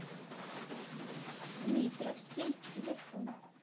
дмитровский телефон